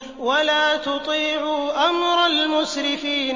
وَلَا تُطِيعُوا أَمْرَ الْمُسْرِفِينَ